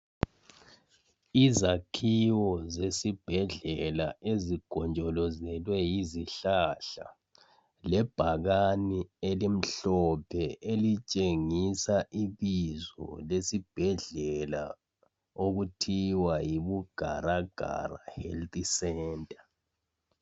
Izakhiwo zesibhedlela ezigonjolozelwe yizihlahla lebhakani elimhlophe elitshengisa ibizo lesibhedlela okuthiwa yiBugaragara Health Centre.